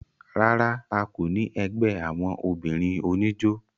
rárá, a kò ní ẹgbẹ́ àwọn obìnrin oníjó